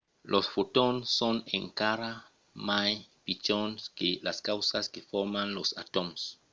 los fotons son encara mai pichons que las causas que forman los atòms!